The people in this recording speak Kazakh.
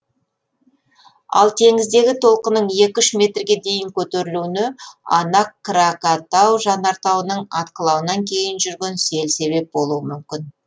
ал теңіздегі толқынның екі үш метрге дейін көтерілуіне анак кракатау жанартауының атқылауынан кейін жүрген сел себеп болуы мүмкін